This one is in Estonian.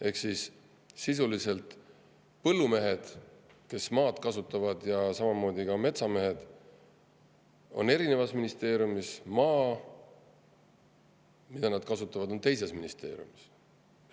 Ehk siis põllumehed, kes maad kasutavad, ja ka metsamehed on ühe ministeeriumi all, maa, mida nad kasutavad, on teise ministeeriumi all.